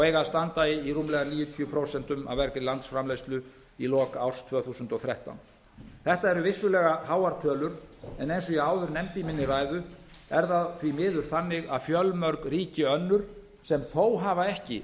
eiga að standa í rúmlega níutíu prósent af vergri landsframleiðslu í lok árs tvö þúsund og þrettán þetta eru vissulega háar tölur en eins og ég áður nefndi í minni ræðu er það því miður þannig að fjölmörg ríki önnur sem þó hafa ekki